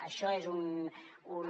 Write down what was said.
això és un